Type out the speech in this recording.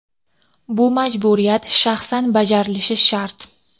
Bu majburiyat shaxsan bajarilishi shart.